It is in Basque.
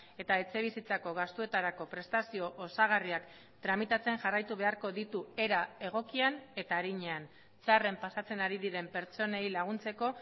eta etxebizitzako gastuetarako prestazio osagarriak tramitatzen jarraitu beharko ditu era egokian eta arinean txarren pasatzen ari diren pertsonei laguntzeko